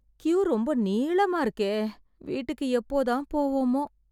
Q ரொம்ப நீளமா இருக்கே. வீட்டுக்கு எப்போ தான் போவோமோ!